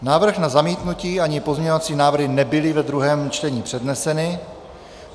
Návrh na zamítnutí ani pozměňovací návrhy nebyly ve druhém čtení předneseny.